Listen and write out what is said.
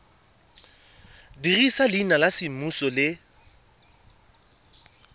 dirisa leina la semmuso le